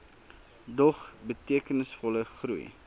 dog betekenisvolle groei